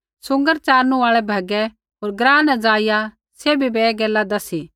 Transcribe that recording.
सूँगर च़ारनू आल़ै भैगै होर ग्राँ न ज़ाइआ सैभी बै ऐ गैला दसी